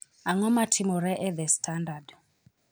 Ang'o matimore e The Standard?